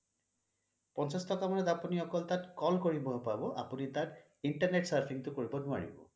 পঞ্চাছ টকাত আপুনি অকল তাত call কৰিব পাব আপুনি তাত internet surfing টো কৰিব নোৱাৰে